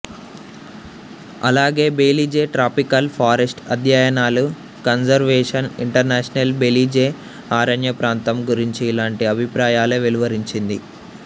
అలాగే Belize tropical forest అధ్యయనాలు Conservation International Belize అరణ్యప్రాంతం గురించి ఇలాంటి అభిప్రాయాలే వెలువరించింది